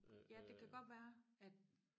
ja det kan godt være at